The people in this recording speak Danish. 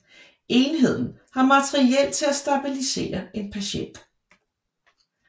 Enheden har materiel til at stabilisere en patient